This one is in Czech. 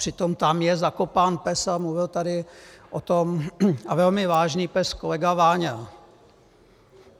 Přitom tam je zakopán pes, a mluvil tady o tom - a velmi vážný pes - kolega Váňa.